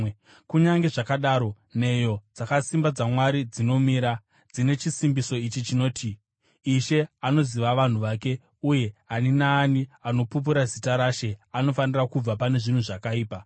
Kunyange zvakadaro, nheyo dzakasimba dzaMwari dzinomira, dzine chisimbiso ichi chinoti: “Ishe anoziva vanhu vake,” uye, “Ani naani anopupura zita raShe anofanira kubva pane zvakaipa.”